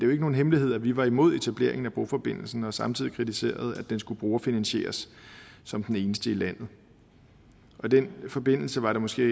jo ikke nogen hemmelighed at vi var imod etableringen af broforbindelsen og samtidig kritiserede at den skulle brugerfinansieres som den eneste i landet i den forbindelse var det måske